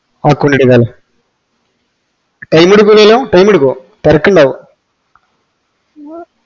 account time എടക്കൂലല്ലോ time ടുക്കോ തിരക്കിണ്ടാവോ